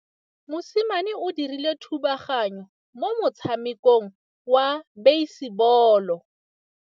Mosimane o dirile thubaganyô mo motshamekong wa basebôlô.